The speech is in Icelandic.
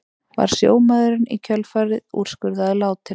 Var sjómaðurinn í kjölfarið úrskurðaður látinn